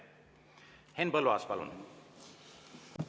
Henn Põlluaas, palun!